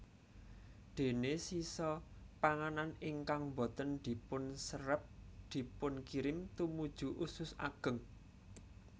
Déné sisa panganan ingkang boten dipunserep dipunkirim tumuju usus ageng